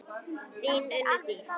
Þín Unndís Ýr.